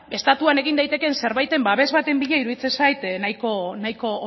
estatuan egin daitekeen zerbaiten babes baten bila iruditzen zait nahiko